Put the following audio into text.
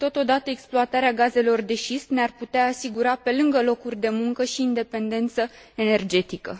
Și totodată, exploatarea gazelor de șist ne ar putea asigura, pe lângă locuri de muncă, și independență energetică.